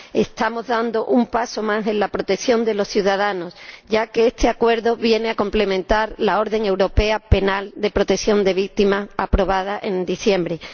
Estamos dando un paso más en la protección de los ciudadanos, ya que este acuerdo viene a complementar la orden europea de protección de víctimas aprobada en diciembre de